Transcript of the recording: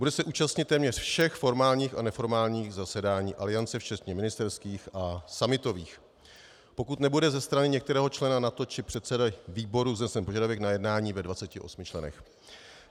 Bude se účastnit téměř všech formálních a neformálních zasedání Aliance včetně ministerských a summitových, pokud nebude ze strany některého člena NATO či předsedy výboru vznesen požadavek na jednání ve 28 členech.